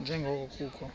nje ngoko kukho